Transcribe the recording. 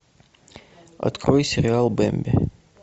открой сериал бэмби